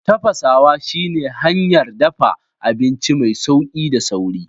Tafasawa shi ne hanyar dafa abinci mai sauri da sauƙi.